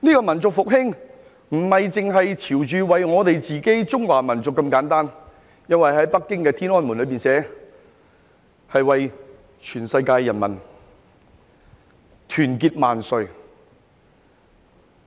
民族復興不只是為了我們中華民族這麼簡單，因為北京天安門寫着：世界人民大團結萬歲。